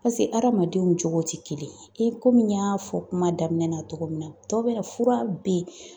pase hadamadenw cogo tɛ kelen yr, i komi n y'a fɔ kuma daminɛ na cogo min na dɔ bɛ na fura be yen